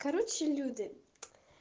короче люди